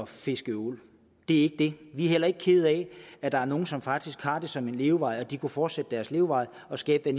fiske ål det er ikke det vi er heller ikke kede af at der er nogle som faktisk har det som en levevej og at de kunne fortsætte deres levevej og skabe